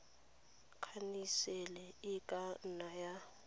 khansele e ka nna ya